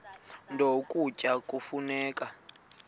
nto ukutya kufuneka